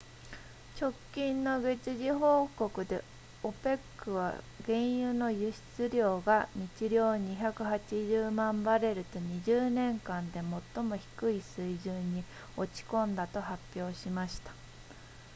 直近の月次報告で opec は原油の輸出量が日量280万バレルと20年間で最も低い水準に落ち込んだと発表しました